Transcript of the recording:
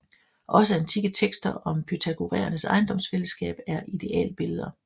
Også antikke tekster om pythagoræernes ejendomsfællesskab er idealbilleder